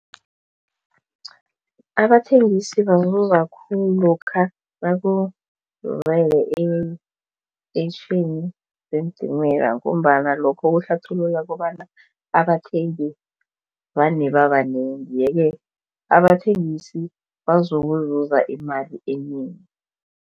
Abathengisi bazuza khulu ngombana lokha nakuzele eentetjhini zeentimela ngombana lokho kuhlathulula kobana abathengi vane babanengi yeke abathengisi bazokuza imali enengi.